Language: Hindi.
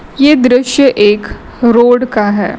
ये दृश्य एक रोड का है।